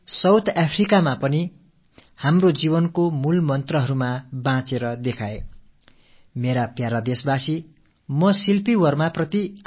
வாருங்கள் தென்னாப்பிரிக்காவிலும் கூட நமது வாழ்க்கையின் மூல மந்திரங்களை வாழ்ந்து காட்டியிருக்கும் இந்த இந்தியர்களை நினைத்து நாம் பெருமிதம் கொள்வோம்